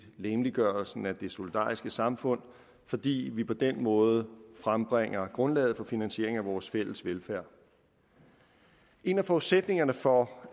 legemliggørelsen af det solidariske samfund fordi vi på den måde frembringer grundlaget for finansieringen af vores fælles velfærd en af forudsætningerne for